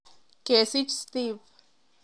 Kesich Steve.